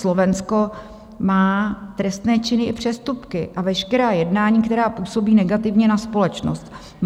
Slovensko má trestné činy i přestupky a veškerá jednání, která působí negativně na společnost.